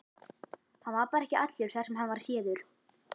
Hann var bara ekki allur þar sem hann var séður.